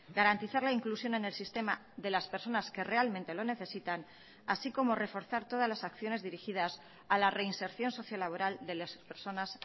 garantizar la inclusión en el sistema de las personas que realmente lo necesitan así como reforzar todas las acciones dirigidas a la reinserción sociolaboral de las personas